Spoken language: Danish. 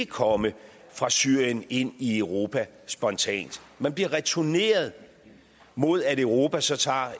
komme fra syrien ind i europa spontant man bliver returneret mod at europa så tager